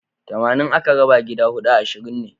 Tamanin aka raba gida huɗu ashirin ne.